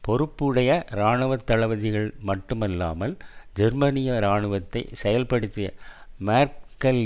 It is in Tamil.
பொறுப்புடைய இராணுவ தளபதிகள் மட்டுமில்லாமல் ஜெர்மனிய இராணுவத்தை செயல்படுத்திய மேர்க்கெல்